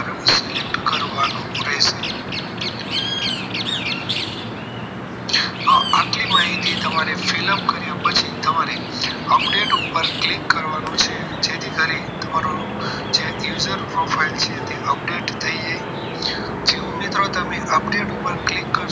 આખી માહિતી તમારી fill up કર્યા પછી તમારે update ઉપર click કરવાનું છે જેથી કરીને તમારું યુઝર profile update થઈ જાય જેવું મિત્રો તમે update ઉપર update કરશો